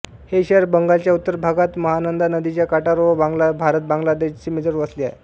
हे शहर बंगालच्या उत्तर भागात महानंदा नदीच्या काठावर व भारतबांगलादेश सीमेजवळ वसले आहे